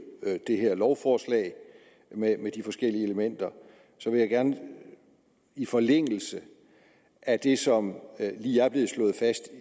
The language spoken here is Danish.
det her lovforslag med de forskellige elementer vil jeg gerne i forlængelse af det som lige er blevet slået fast